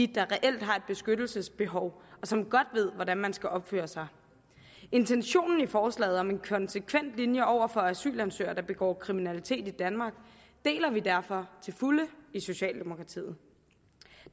der reelt har et beskyttelsesbehov og som godt ved hvordan man skal opføre sig intentionen i forslaget om en konsekvent linje over for asylansøgere der begår kriminalitet i danmark deler vi derfor til fulde i socialdemokratiet